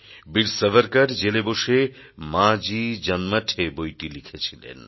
বীর সাভারকর জেলে বসে মাঁজী জন্মঠে বইটি লিখেছিলেন